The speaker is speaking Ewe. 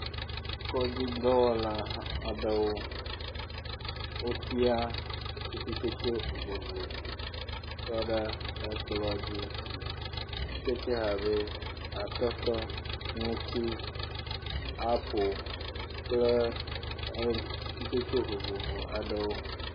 kɔdi dɔwɔla aɖewo wotia atikutsetse vovovo tsɔɖe ekplɔ̃ dzi, atikutsetse abe atɔtɔ ŋuti apel kple atikutsetse vovovo aɖewo